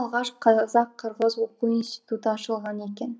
алғаш қазақ қырғыз оқу институты ашылған екен